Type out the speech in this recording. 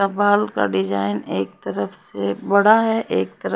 काफल का डिजाइन एक तरफ से बड़ा है एक तरफ--